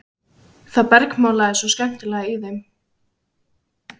Það bergmálaði svo skemmtilega í þeim.